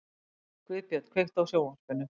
Guðbjörn, kveiktu á sjónvarpinu.